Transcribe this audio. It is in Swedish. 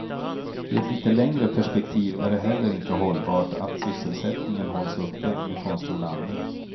I ett lite längre perspektiv är det heller inte hållbart att sysselsättningen hålls uppe med konstgjort andning.